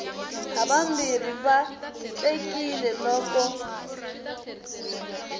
havambirhi va vatlekile loko u